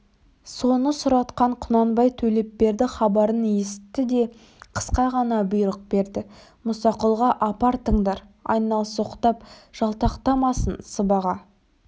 соны сұратқан құнанбай төлепберді хабарын есітті де қысқа ғана бұйрық берді мұсақұлға апартыңдар айналсоқтап жалтақтамасын сыбаға